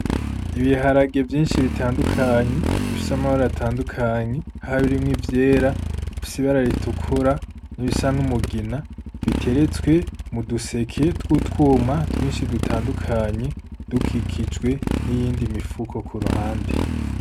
Ibiharage vyinshi bitandukaye bifise amabara atandukanye harimwo ivyera, ibifise ibara ritukura n'ibisa n'umugina biteretse mu duseke tw'utwuma twinshi dutandukanye dukikijwe n'iyindi mifuko ku ruhande.